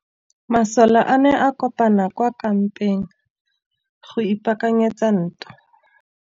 Masole a ne a kopane kwa kampeng go ipaakanyetsa ntwa.